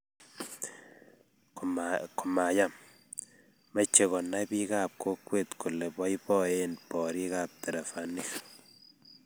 komayam, meche konay biikap kokwet kole boiboen borikab terevainik